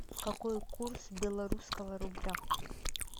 какой курс белорусского рубля